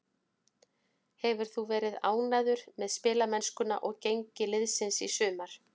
Hefur þú verið ánægður með spilamennskuna og gengi liðsins í sumar?